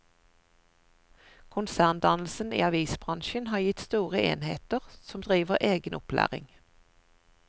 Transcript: Konserndannelsen i avisbransjen har gitt store enheter som driver egen opplæring.